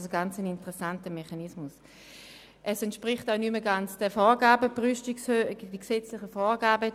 Es entspricht auch nicht mehr den gesetzlichen Vorgaben.